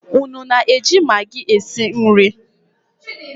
Unu na-eji maggi esi nri?